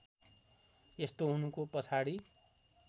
यस्तो हुनुको पछाडि